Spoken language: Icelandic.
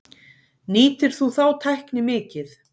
Nýtir þú þá tækni mikið?